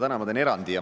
Täna ma teen erandi.